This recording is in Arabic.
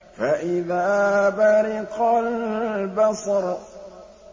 فَإِذَا بَرِقَ الْبَصَرُ